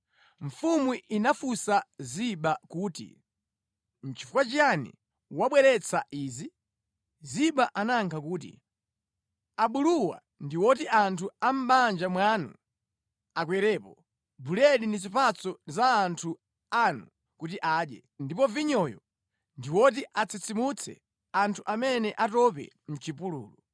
Mfumu inafunsa Ziba kuti, “Nʼchifukwa chiyani wabweretsa izi?” Ziba anayankha kuti, “Abuluwa ndi oti anthu a mʼbanja mwanu akwerepo, buledi ndi zipatso ndi za anthu anu kuti adye, ndipo vinyoyo ndi woti atsitsimutse anthu amene atope mʼchipululu.”